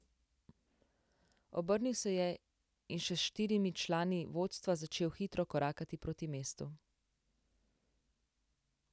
Obrnil se je in še s štirimi člani vodstva začel hitro korakati proti mestu.